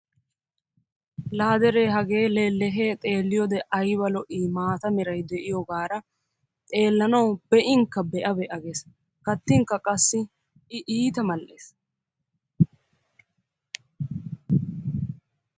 La deree hagee leleehee xeeliyoode ayba lo''ii maataa meray de'iyoogaara xeellanawu be'inkka be'a be'a gees ; kattinkka I iita mal''ees.